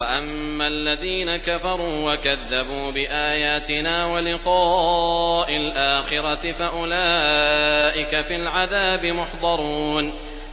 وَأَمَّا الَّذِينَ كَفَرُوا وَكَذَّبُوا بِآيَاتِنَا وَلِقَاءِ الْآخِرَةِ فَأُولَٰئِكَ فِي الْعَذَابِ مُحْضَرُونَ